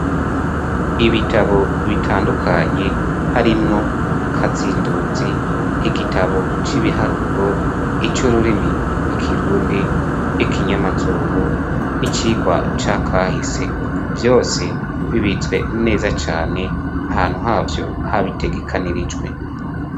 Ibitabo bitandukanye harimwo katsinduzi igitabo c'ibiharuro, ic'ururimi rw'ikirundi ,'ikinyamazru n'icikwa cakahise vyose bibitswe neza cane ahantu havyo habitegekanirijwe.